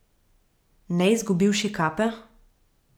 Ne izgubivši kape?